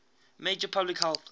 major public health